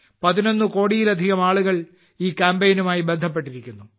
11കോടിയിലധികം ആളുകൾ ഈ കാമ്പെയ്നുമായി ബന്ധപ്പെട്ടിരിക്കുന്നു